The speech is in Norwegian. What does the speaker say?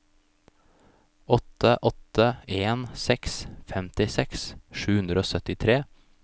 åtte åtte en seks femtiseks sju hundre og syttitre